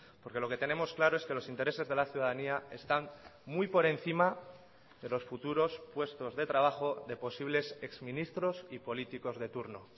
porque lo que tenemos claro es que los intereses de la ciudadanía están muy por encima de los futuros puestos de trabajo de posibles exministros y políticos de turno